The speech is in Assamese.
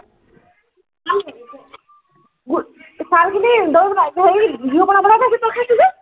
উম খাৰঘূলিৰ উম হেৰি বিহু মেলালে কৰিছে, তই খাইছ যে?